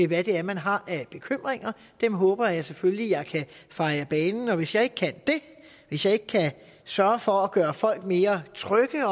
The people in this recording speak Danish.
hvad det er man har af bekymringer dem håber jeg selvfølgelig at jeg kan feje af banen og hvis jeg ikke kan det hvis jeg ikke kan sørge for at gøre folk mere trygge